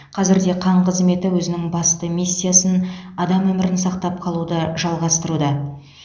қазір де қан қызметі өзінің басты миссиясын адам өмірін сақтап қалуды жалғастыруда